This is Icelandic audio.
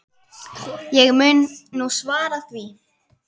Ég mun nú svara því.